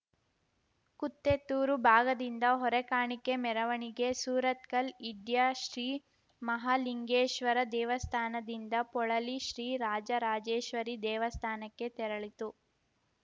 ಕುತ್ತೆತ್ತೂರು ಭಾಗದಿಂದ ಹೊರೆಕಾಣಿಕೆ ಮೆರವಣಿಗೆ ಸುರತ್ಕಲ್ ಇಡ್ಯಾ ಶ್ರೀ ಮಹಾಲಿಂಗೇಶ್ವರ ದೇವಸ್ಥಾನದಿಂದ ಪೊಳಲಿ ಶ್ರೀ ರಾಜರಾಜೇಶ್ವರಿ ದೇವಸ್ಥಾನಕ್ಕೆ ತೆರಳಿತು